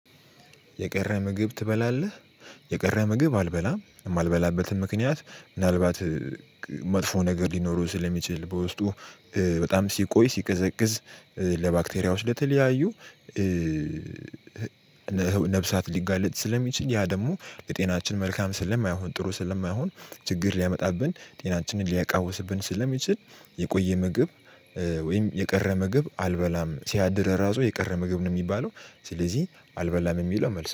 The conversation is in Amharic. የቀረ ምግብ ትበላለህ? የቀረ ምግብ አልበላም እማልበላበትም ምክንያት ምናልባት መጥፎ ነገር ሊኖረው ስለሚችል በውስጡ በጣም ሲቆይ ሲቀዘቅዝ ለባክተሪያዎች ለተለያዩ ነፍሳት ሊጋለጥ ስለሚችል ያ ደግሞ ለጤናችን መልካም ስለማይሆን ጥሩ ስለማይሆን። ችግር ሊያመጣብን ጤናችንን ሊያቃውስብን ስለሚችል። የቆየ ምግብ ወይም የቀረ ምግብ አልበላም ሲያድር ራሱ የቀረ ምግብ ነው የሚባለው። ስለዚህ አልበላም የሚለው መልስ